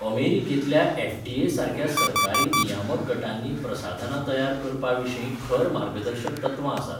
अमेरिकेंतल्या एफडीए सारक्या सरकारी नियामक गटांनी प्रसाधनां तयार करपाविशीं खर मार्गदर्शक तत्वां आसात.